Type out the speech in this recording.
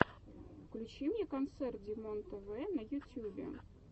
включи мне концерт димонтв на ютьюбе